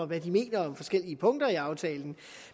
hvad de mener om forskellige punkter i aftalen